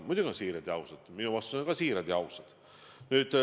Muidugi on need olnud siirad ja ausad, minu vastused on ka olnud siirad ja ausad.